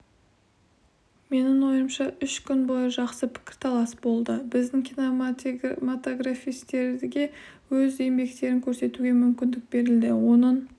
менің ойымша үш күн бойы жақсы пікірталас болды біздің киноматографистерге өз еңбектерін көрсетуге мүмкіндік берілді оның